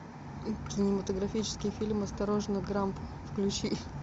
кинематографический фильм осторожно грамп включи